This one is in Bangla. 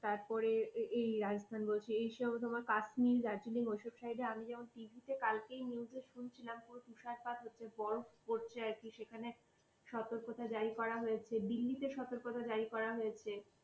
তারপরে, এই রাজস্থান বলছি, এই সময় কাশ্মীর দার্জিলিং এইসব জায়গায়। আমি যেমন tv তে কালকেই news জে শুনছিলাম পুরো তুষারপাত হচ্ছে বরফ পড়ছে আরকি, সেখানে সতর্কতা জারি করা হয়েছে। দিল্লিতে সর্তকতা জারি করা হয়েছে।